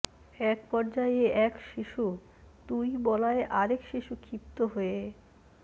একপর্যায়ে এক শিশু তুই বলায় আরেক শিশু ক্ষিপ্ত হয়ে